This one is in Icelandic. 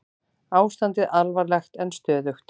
Ástandið alvarlegt en stöðugt